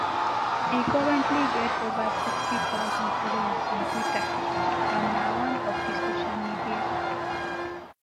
e currently get ova sixty thousand followers on twitter and na one of di social media